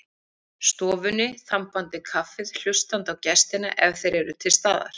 stofunni, þambandi kaffið, hlustandi á gestina ef þeir eru til staðar.